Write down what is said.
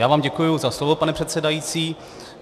Já vám děkuji za slovo, pane předsedající.